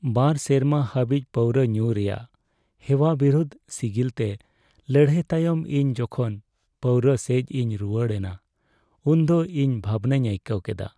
᱒ ᱥᱮᱨᱢᱟ ᱫᱷᱟᱹᱵᱤᱡ ᱯᱟᱹᱣᱨᱟᱹ ᱧᱩ ᱨᱮᱭᱟᱜ ᱦᱮᱣᱟ ᱵᱤᱨᱩᱫᱷ ᱥᱤᱜᱤᱞᱛᱮ ᱞᱟᱹᱲᱦᱟᱹᱭ ᱛᱟᱭᱚᱢ ᱤᱧ ᱡᱚᱠᱷᱚᱱ ᱯᱟᱹᱣᱨᱟᱹ ᱥᱮᱡ ᱤᱧ ᱨᱩᱣᱟᱹᱲ ᱮᱱᱟ ᱩᱱᱫᱚ ᱤᱧ ᱵᱷᱟᱵᱱᱟᱧ ᱟᱹᱭᱠᱟᱹᱣ ᱠᱮᱫᱟ ᱾